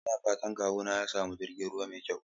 Ina fatan kawuna ya sami jirgin ruwa mai kyau.